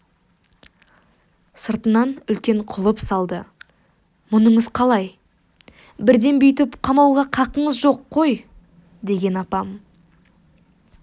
сыртынан үлкен құлып салды мұныңыз қалай бірден бүйтіп қамауға қақыңыз жоқ қой деген апам